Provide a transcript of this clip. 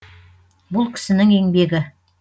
бұл кісінің еңбегі